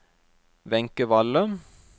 Wenche Valle